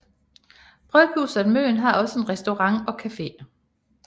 Bryghuset Møn har også en restaurant og cafe